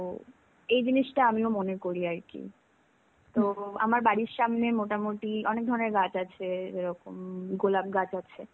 তো, এই জিনিষটা আমিও মনে করি আরকি. তো, আমার বাড়ির সামনে মোটামুটি অনেক ধরনের গাছ আছে. এরকম গোলাপ গাছ আছে.